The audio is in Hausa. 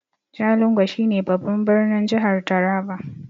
Jalingo shi ne babban birnin jihar taraba